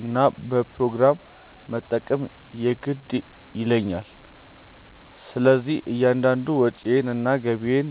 እና በፕሮግራም መጠቀም የግድ ይለኛል። ስለዚህም እያንዳንዷን ወጪዬን እና ገቢዬን